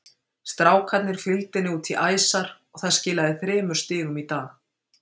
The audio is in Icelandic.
Strákarnir fylgdu henni út í æsar og það skilaði þremur stigum í dag.